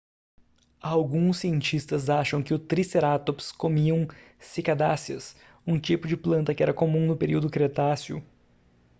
alguns cientistas acham que os tricerátops comiam cicadáceas um tipo de planta que era comum no período cretáceo